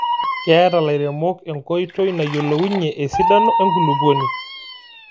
Keeta ilairemok enkoitoi nayiolounyie esidano enkulupuoni.